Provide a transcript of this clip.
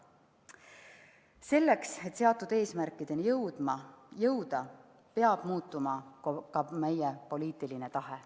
Selleks, et seatud eesmärkideni jõuda, peab muutuma ka meie poliitiline tahe.